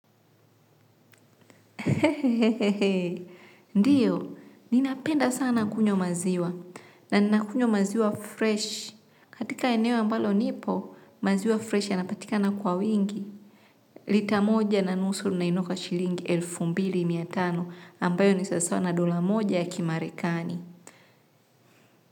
Hehee, ndiyo, ninapenda sana kunywa maziwa, na ninakunywa maziwa fresh, katika eneo ambalo nipo, maziwa freshi yanapatikana kwa wingi, lita moja na nusu ninainua kwa shilingi elfu mbili mia tano, ambayo ni sasawa na dola moja ya kimarekani.